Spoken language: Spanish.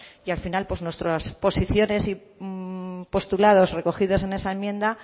y al final nuestra posiciones y postulados recogidos en ese enmienda